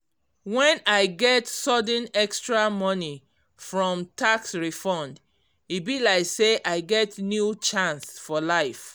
when i get sudden extra money from tax refund e be like say i get new chance for life